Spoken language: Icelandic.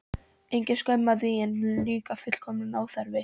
Engin skömm að því, en líka fullkominn óþarfi.